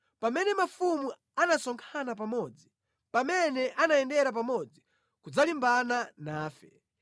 Pamene mafumu anasonkhana pamodzi, pamene anayendera pamodzi kudzalimbana nafe,